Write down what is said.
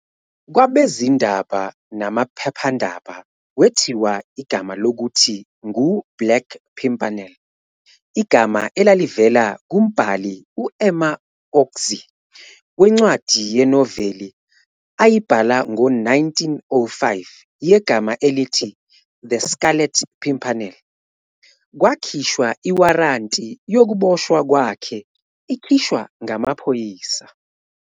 Kwabezindaba namaphephendaba wethiwa igama lokuthi ngu-"Black Pimpernel" - igama elalivela kumbhali u-Emma Orczy wencwadi yenoveli ayibhala ngo-1905 yegama elithi-"The Scarlet Pimpernel" - kwakhishwa iwaranti yokuboshwa kwakhe ikhishwa ngamaphoyisa.